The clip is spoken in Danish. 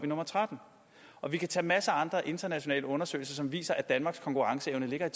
nummer trettende og vi kan tage masser af andre internationale undersøgelser som viser at danmarks konkurrenceevne ligger